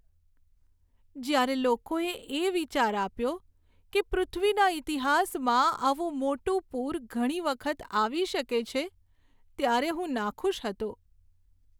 જ્યારે લોકોએ એ વિચાર આપ્યો કે પૃથ્વીના ઇતિહાસમાં આવું મોટું પૂર ઘણી વખત આવી શકે છે, ત્યારે હું નાખુશ હતો.